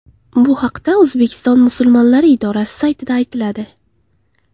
Bu haqda O‘zbekiston Musulmonlari idorasi saytida aytiladi.